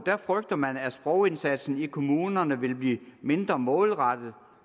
frygter man at sprogindsatsen i kommunerne vil blive mindre målrettet